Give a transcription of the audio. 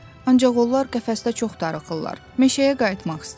Ancaq onlar qəfəsdə çox darıxırlar, meşəyə qayıtmaq istəyirlər.